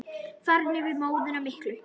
Farin yfir móðuna miklu.